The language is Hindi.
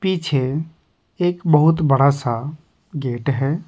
पीछे एक बहुत बड़ा सा गेट है।